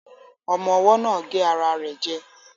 Ọmọ́ ọwọ́ náà gé ara rẹ̀ jẹ